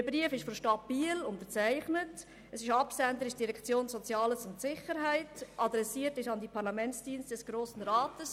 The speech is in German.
Der Brief ist seitens der Stadt Biel unterzeichnet, Absender ist die Direktion Soziales und Sicherheit, adressiert ist er an die Parlamentsdienste des Grossen Rats.